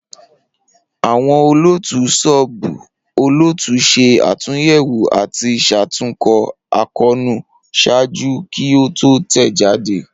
Awọn olootu sub-olootu ṣe atunyẹwo ati ṣatunkọ akoonu ṣaaju ki o to tẹjade